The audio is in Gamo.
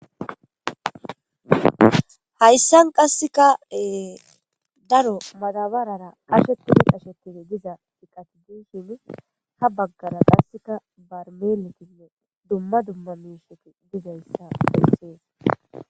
hayssan qassekaee daro madabarara qashetidi qashetidi diza iqatideshin ha baggara qasseka barmeletinne dumma dumma mesheti dizayssa beyssees